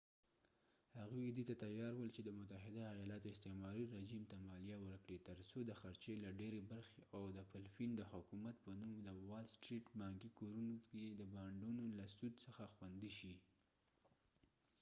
هغوی دې ته تیار ول چې د متحده ایالاتو استعماري رژیم ته مالیه ورکړي تر څو د خرچې له ډيرې برخې او د فلپین د حکومت په نوم د وال سټریټ بانکي کورونو کې د بانډونو له سود څخه خوندي شي